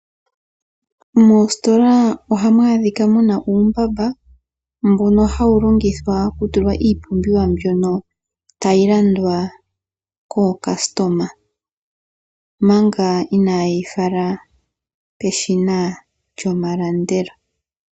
Moositola ohamu adhika mu na uumbamba mbono hawu longithwa okutulwa iipumbiwa mbyono tayi landwa kaalandi manga ina ye yi fala peshina lyomalandelo.